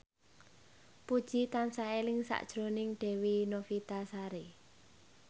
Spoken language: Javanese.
Puji tansah eling sakjroning Dewi Novitasari